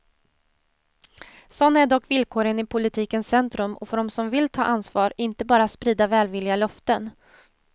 Sådana är dock villkoren i politikens centrum och för dem som vill ta ansvar, inte bara sprida välvilliga löften.